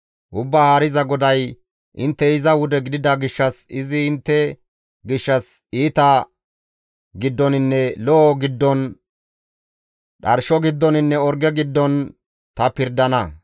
« ‹Ubbaa Haariza GODAY: intte iza wude gidida gishshas, izi intte gishshas iita giddoninne lo7o giddon, dharsho giddoninne orge giddon ta pirdana.